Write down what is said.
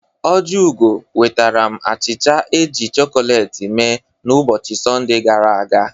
Ojiugo nwetaram achịcha e jiri chọkọleti mee n'ụbọchị Sọnde gara aga.